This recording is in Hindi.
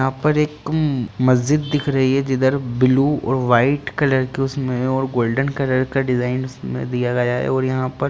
यहाँ पर एक मस्जिद दिख रही है जिधर ब्लू और व्हाइट कलर के उसमे और गोल्डन कलर का डिजाइन दिया लगा है और यहाँ पर --